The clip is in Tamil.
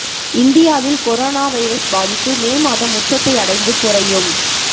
இந்தியாவில் கொரோனா வைரஸ் பாதிப்பு மே மாதம் உச்சத்தை அடைந்து குறையும்